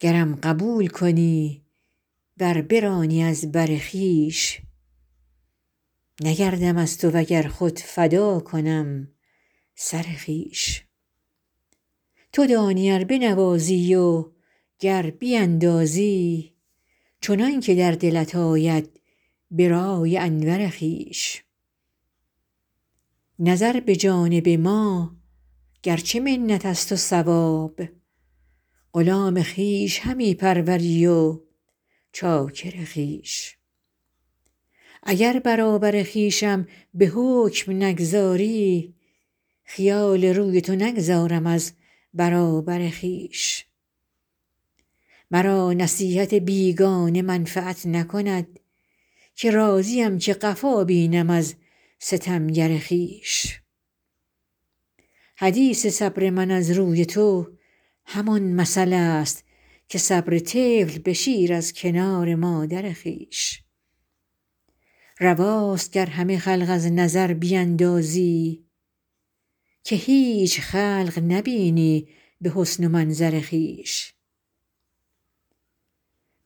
گرم قبول کنی ور برانی از بر خویش نگردم از تو و گر خود فدا کنم سر خویش تو دانی ار بنوازی و گر بیندازی چنان که در دلت آید به رأی انور خویش نظر به جانب ما گر چه منت است و ثواب غلام خویش همی پروری و چاکر خویش اگر برابر خویشم به حکم نگذاری خیال روی تو نگذارم از برابر خویش مرا نصیحت بیگانه منفعت نکند که راضیم که قفا بینم از ستمگر خویش حدیث صبر من از روی تو همان مثل است که صبر طفل به شیر از کنار مادر خویش رواست گر همه خلق از نظر بیندازی که هیچ خلق نبینی به حسن و منظر خویش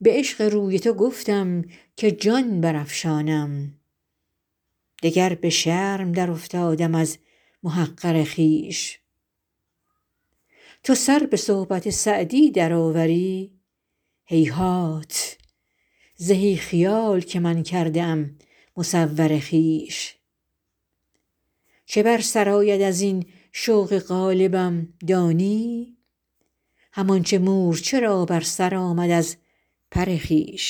به عشق روی تو گفتم که جان برافشانم دگر به شرم درافتادم از محقر خویش تو سر به صحبت سعدی درآوری هیهات زهی خیال که من کرده ام مصور خویش چه بر سر آید از این شوق غالبم دانی همان چه مورچه را بر سر آمد از پر خویش